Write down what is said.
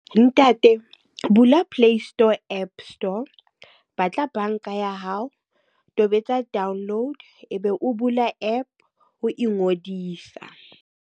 Ntate, bula play store app store. Ba tla banka ya hao, tobetsa download e be o bula app ho ngodisa.